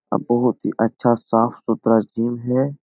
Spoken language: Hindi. बहुत ही अच्छा साफ-सुथरा जीम है ।